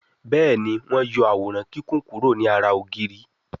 Béèni wón yó Àwòrán Kíkún kuro ní àrà ògiri.